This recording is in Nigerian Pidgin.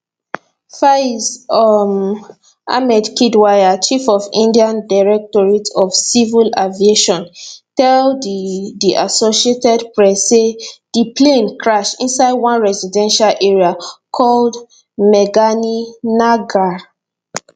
faiz um ahmed kidwai chief of india directorate of civil aviation tell di di associated press say di plane crash inside one residential area called meghani nagar